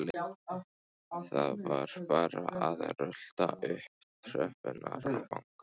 Það var bara að rölta upp tröppurnar og banka.